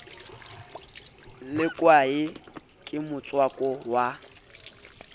le kwae ke motswako wa